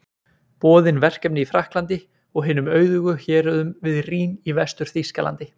Boðin verkefni í Frakklandi og hinum auðugu héruðum við Rín í Vestur-Þýskalandi.